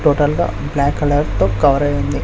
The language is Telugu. టోటల్గా బ్లాక్ కలర్ తో కవరయ్ ఉంది.